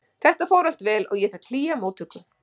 Þetta fór allt vel og ég fékk hlýja móttöku.